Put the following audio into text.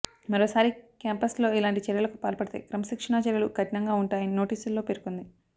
మరోసారి క్యాంపస్లో ఇలాంటి చర్యలకు పాల్పడితే క్రమశిక్షణా చర్యలు కఠినంగా ఉంటాయని నోటీసుల్లో పేర్కొంది